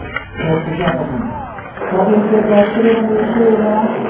Hjörtur Hjartarson: Hverjir geta þá skrifað niður sögulega atburði?